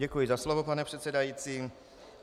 Děkuji za slovo, pane předsedající.